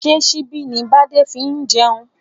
Ṣé síbi ni bade fi ń jẹun?